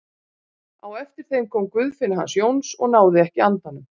Á eftir þeim kom Guðfinna hans Jóns og náði ekki andanum.